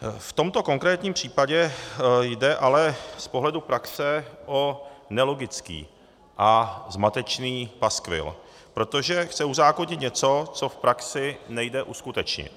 V tomto konkrétním případě jde ale z pohledu praxe o nelogický a zmatečný paskvil, protože chce uzákonit něco, co v praxi nejde uskutečnit.